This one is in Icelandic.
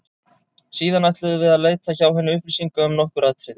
Síðan ætluðum við að leita hjá henni upplýsinga um nokkur atriði.